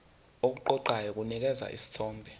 okuqoqayo kunikeza isithombe